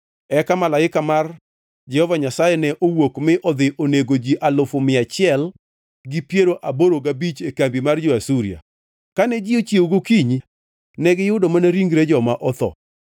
Eka malaika mar Jehova Nyasaye ne owuok mi odhi onego ji alufu mia achiel gi piero aboro gabich e kambi mar jo-Asuria. Kane ji ochiewo gokinyi negiyudo mana ringre joma otho!